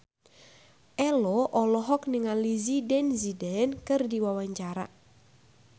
Ello olohok ningali Zidane Zidane keur diwawancara